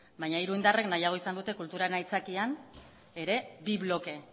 baina hiru indarrek nahiago izan dute kulturaren aitzakian bi bloke